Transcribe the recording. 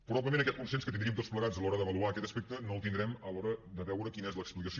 probablement aquest consens que tindríem tots plegats a l’hora d’avaluar aquest aspecte no el tindrem a l’hora de veure quina és l’explicació